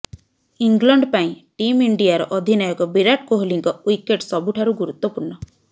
England ପାଇଁ team ଇଣ୍ଡିଆର ଅଧିନାୟକ ବିରାଟ୍ କୋହଲିଙ୍କ ୱିକେଟ୍ ସବୁଠାରୁ ଗୁରୁତ୍ୱପୂର୍ଣ୍ଣ